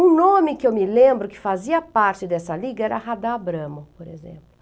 Um nome que eu me lembro que fazia parte dessa liga era Radá Abramo, por exemplo.